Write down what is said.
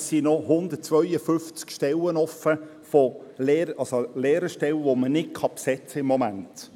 Es sind noch 152 Lehrerstellen offen, die man im Moment nicht besetzen kann.